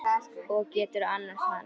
Og geturðu annast hann?